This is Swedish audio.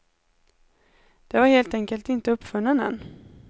Det var helt enkelt inte uppfunnen än.